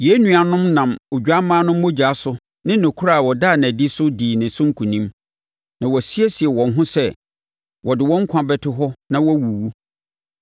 Yɛn nuanom no nam Odwammaa no mogya so ne nokorɛ a ɔdaa no adi so dii ne so nkonim. Na wɔasiesie wɔn ho sɛ wɔde wɔn nkwa bɛto hɔ na wɔawuwu.